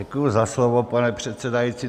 Děkuji za slovo, pane předsedající.